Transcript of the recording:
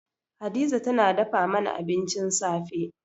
Hadiza tana dafa mana abincin safe.